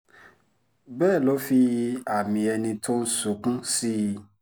bẹ́ẹ̀ ló fi àmì ẹni tó ń sunkún sí i